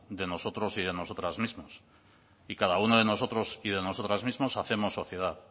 de nosotros y de nosotras mismos y cada uno de nosotros y de nosotras mismos hacemos sociedad